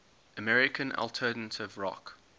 american alternative rock